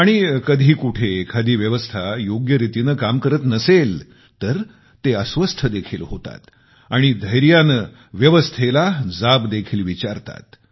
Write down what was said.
आणि कधी कुठे एखादी व्यवस्था योग्य रीतीने काम करत नसेल तर ते अस्वस्थ देखील होतात आणि धैर्याने व्यवस्थेला जाब देखील विचारतात